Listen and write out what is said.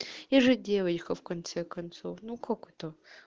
я же девочка в конце концов ну как это